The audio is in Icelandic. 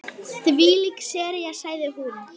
En hann fylgist með henni.